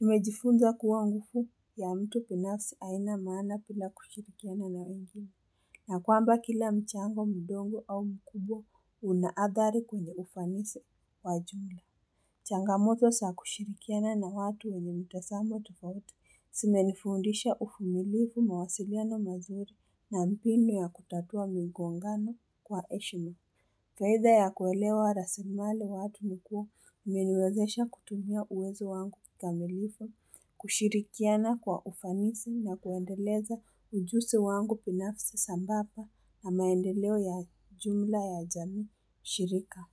Nimejifunza kuwa ngufu ya mtu pinafsi aina maana pila kushirikiana na wengine. Na kwamba kila mchango mdogo au mkubwa unaadhari kwenye ufanisi wajuu. Changamoto saa kushirikiana na watu wenye mtasamo tufauti. Sime nifundisha ufumilifu mawasiliano mazuri na mpini wa kutatua migongano kwa eshima. Faiza ya kuelewa rasimaliwatu nikuwa umeniwezesha kutumia uwezo wangu kikamilifu. Kushirikiana kwa ufanisi na kuendeleza ujusi wangu pinafisi sambapa na maendeleo ya jumla ya jami shirika.